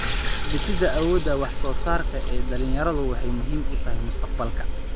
Dhisidda awoodda wax-soo-saarka ee dhallinyaradu waxay muhiim u tahay mustaqbalka.